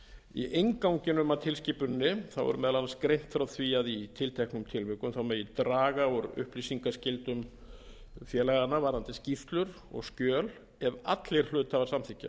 í innganginum að tilskipuninni er meðal annars greint frá því að í tilteknum tilvikum megi draga úr upplýsingaskyldum félaganna varðandi skýrslur og skjöl ef allir hluthafar samþykkja